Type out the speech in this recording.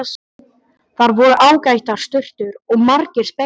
Þar voru ágætar sturtur og margir speglar!